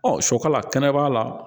Ɔ sɔkɔ la kɛnɛ kɛnɛba la